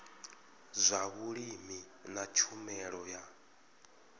zwa vhulimi na tshumelo ya